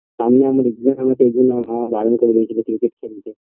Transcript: সামনেই আমার exam আছে ঐজন্য আমার বাবা মা বারন করে দিয়েছিল ক্রিকেট খেলতে